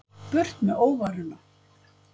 Burt með óværuna.